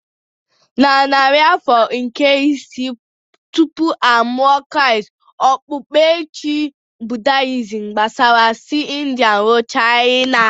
Na narị afọ nke isii tupu a mụọ Kraịst, okpukpe Chi Buddha gbasara si India ruo China.